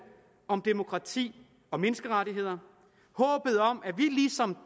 om demokrati og menneskerettigheder håbet om at